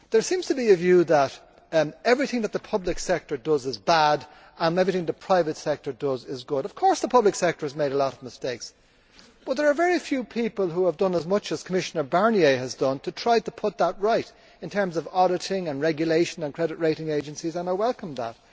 There seems to be a view that everything that the public sector does is bad and everything that the private sector does is good. Of course the public sector has made a lot of mistakes, but there are very few people who have done as much as Commissioner Barnier has done to try to put that right, in terms of auditing, regulation and credit rating agencies. I welcome that.